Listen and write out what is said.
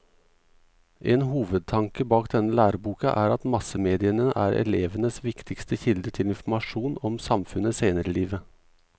En hovedtanke bak denne læreboka er at massemediene er elevenes viktigste kilde til informasjon om samfunnet senere i livet.